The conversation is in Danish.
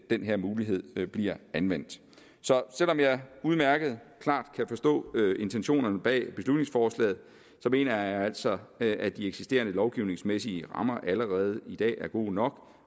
den her mulighed bliver anvendt så selv om jeg udmærket klart kan forstå intentionerne bag beslutningsforslaget mener jeg altså at de eksisterende lovgivningsmæssige rammer allerede i dag er gode nok